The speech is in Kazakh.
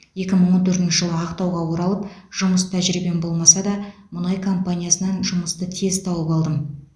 екі мың он төртінші жылы ақтауға оралып жұмыс тәжірибем болмаса да мұнай компаниясынан жұмысты тез тауып алдым